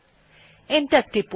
enter টিপুন